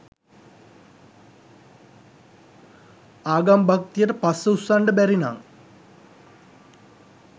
ආගම් භක්තියට පස්ස උස්සන්ඩ බැරිනං